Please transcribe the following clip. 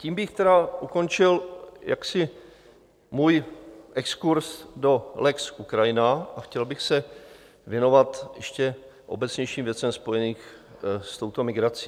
Tím bych tedy ukončil jaksi svůj exkurz do lex Ukrajina a chtěl bych se věnovat ještě obecnějším věcem spojeným s touto migrací.